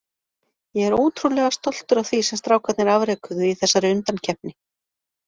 Ég er ótrúlega stoltur af því sem strákarnir afrekuðu í þessari undankeppni.